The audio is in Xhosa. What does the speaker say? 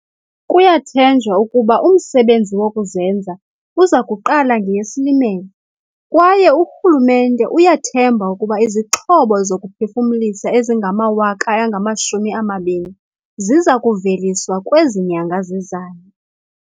Kuyathenjwa ukuba umsebenzi wokuzenza uza kuqala ngeyeSilimela kwaye urhulumente uyathemba ukuba izixhobo zokuphefumlisa ezingama-20 000 ziza kuveliswa kwezi nyanga zizayo.